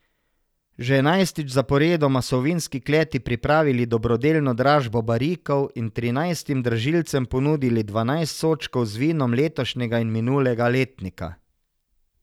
Že enajstič zaporedoma so v vinski kleti pripravili dobrodelno dražbo barikov in trinajstim dražilcem ponudili dvanajst sodčkov z vinom letošnjega in minulega letnika.